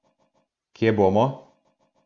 Kje bomo?